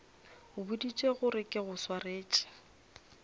boditše gore ke go swaretše